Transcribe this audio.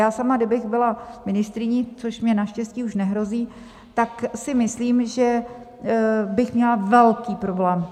Já sama, kdybych byla ministryní, což mně naštěstí už nehrozí, tak si myslím, že bych měla velký problém.